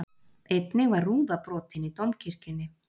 Einnig var rúða brotin í Dómkirkjunni